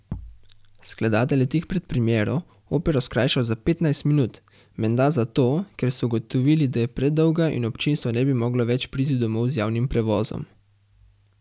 Skladatelj je tik pred premiero opero skrajšal za petnajst minut, menda zato, ker so ugotovili, da je predolga in občinstvo ne bi moglo več priti domov z javnim prevozom!